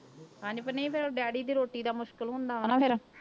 ਹਾਂਜੀ ਨਹੀਂ ਫਿਰ daddy ਦੀ ਰੋਟੀ ਦਾ ਮੁਸ਼ਕਲ ਹੁੰਦਾ ਵਾ ਨਾ ਫਿਰ।